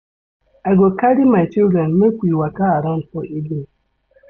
I go carry my children make we waka around for evening.